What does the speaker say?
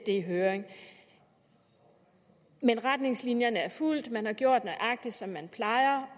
i høring men retningslinjerne er fulgt man har gjort nøjagtig som man plejer